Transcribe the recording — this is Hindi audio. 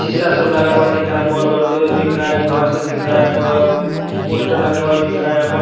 शीशा सब लगा हुआ दिख रहा है बोर बढ़ते हुए दिख रहा है घर से दिख रहा है यहां पर पोस्टर लगा हुआ दिख रहा है यहां प--